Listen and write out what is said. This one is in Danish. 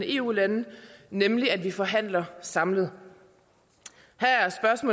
eu lande nemlig at vi forhandler samlet